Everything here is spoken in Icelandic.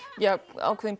ákveðin